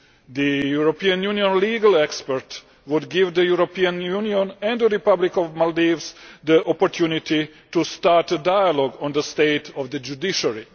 The European Union legal expert would give the European Union and the Republic of the Maldives the opportunity to start a dialogue on the state of the judiciary.